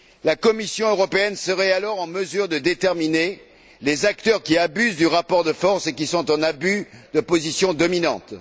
La Commission européenne serait alors en mesure d'identifier les acteurs qui abusent du rapport de force et qui sont en abus de position dominante.